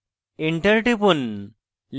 enter টিপুন